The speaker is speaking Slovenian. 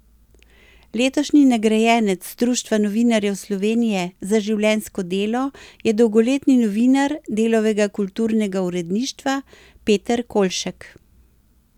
Letošnji nagrajenec Društva novinarjev Slovenije za življenjsko delo je dolgoletni novinar Delovega kulturnega uredništva Peter Kolšek.